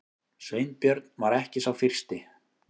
Sveinbjörn var ekki sá fyrsti.